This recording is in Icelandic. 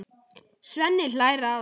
Svenni hlær að honum.